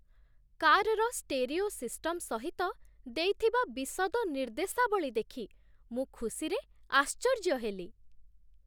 କାର୍‌ର stereo system ସହିତ ଦେଇଥିବା ବିଶଦ ନିର୍ଦ୍ଦେଶାବଳୀ ଦେଖି ମୁଁ ଖୁସିରେ ଆଶ୍ଚର୍ଯ୍ୟ ହେଲି।